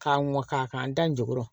K'a mɔ k'a k'an da n jukɔrɔ